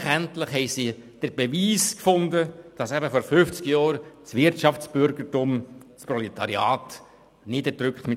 Endlich, endlich hatten sie den Beweis gefunden, dass vor fünfzig Jahren das Wirtschaftsbürgertum das Proletariat mit der Armee niedergedrückt hatte.